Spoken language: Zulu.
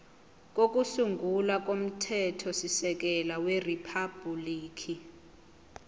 kokusungula komthethosisekelo weriphabhuliki